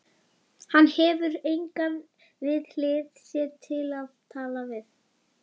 Hann hefur engan við hlið sér til að tala við.